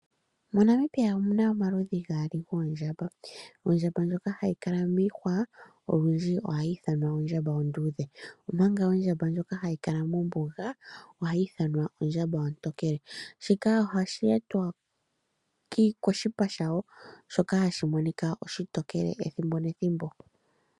MoNamibia omuna omaludhi gaali goondjamba. Ondjamba ndjoka hayi kala miihwa olundji ohayi ithanwa ondjamba onduudhe omanga ondjamba ndjoka hayi kala mombuga ohayi ithanwa ondjamba ontokele shika ohashi etwa koshipa shawo shoka hashi monika oshitokele ethimbo nethimbo.